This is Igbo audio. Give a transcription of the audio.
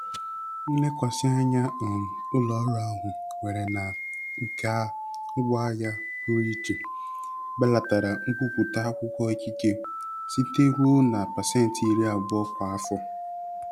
Nlekwasị anya um ụlọ ọrụ ahụ nwere na nka ngwaahịa pụrụ iche belatara nkwupụta akwụkwọ ikike site ruo na pasentị iri abụo kwa afọ.